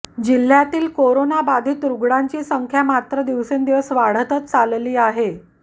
जिल्ह्यातील कोरोनाबाधीत रुग्णांची संख्या मात्र दिवसेंदिवस वाढतच चाललेली आहे